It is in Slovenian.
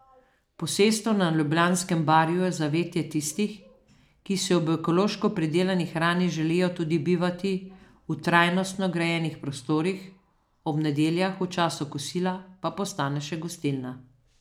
Posestvo na ljubljanskem Barju je zavetje tistih, ki si ob ekološko pridelani hrani želijo tudi bivati v trajnostno grajenih prostorih, ob nedeljah v času kosila pa postane še gostilna.